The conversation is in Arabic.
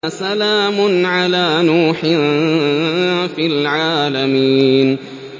سَلَامٌ عَلَىٰ نُوحٍ فِي الْعَالَمِينَ